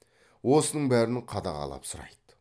осының бәрін қадағалап сұрайды